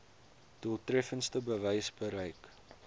doeltreffendste wyse bereik